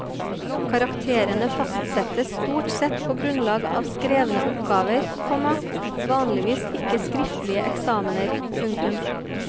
Karakterene fastsettes stort sett på grunnlag av skrevne oppgaver, komma vanligvis ikke skriftlige eksamener. punktum